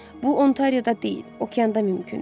Bu Ontarioda deyil, okeanda mümkündür.